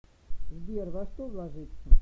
сбер во что вложиться